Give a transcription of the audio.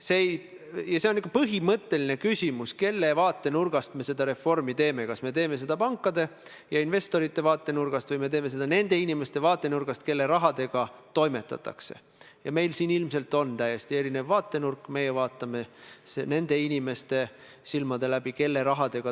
Juhtunud on selline asi, et Majandus- ja Kommunikatsiooniministeeriumi soovil lisas majanduskomisjon 4. novembril meresõiduohutuse seaduse teise lugemise arutelul kiireloomuliselt seaduseelnõusse raudteeseaduse muudatused, millega pikendatakse uueks viieaastaseks perioodiks erandeid raudtee-ettevõtjatele Euroopa Ühenduse määrusega pealepandavate kohustuste suhtes.